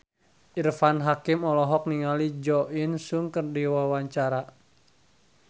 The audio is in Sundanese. Irfan Hakim olohok ningali Jo In Sung keur diwawancara